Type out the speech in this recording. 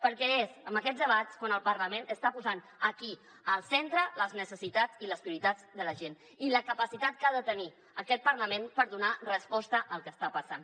perquè és amb aquests debats quan el parlament està posant aquí al centre les necessitats i les prioritats de la gent i la capacitat que ha de tenir aquest parlament per donar resposta al que està passant